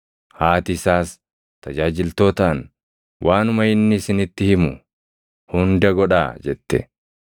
Haati isaas tajaajiltootaan, “Waanuma inni isinitti himu hunda godhaa” jette.